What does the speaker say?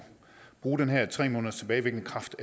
bruge det her med tre måneders tilbagevirkende kraft